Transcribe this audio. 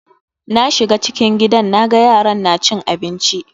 Na shiga cikin gidan naga yaran na cin abinci.